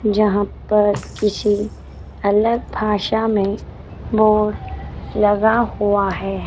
जहां पर किसी अलग भाषा में बोर्ड लगा हुआ है।